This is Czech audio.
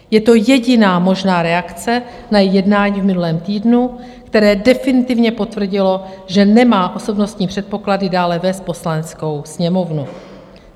Je to jediná možná reakce na její jednání v minulém týdnu, které definitivně potvrdilo, že nemá osobnostní předpoklady dále vést Poslaneckou sněmovnu.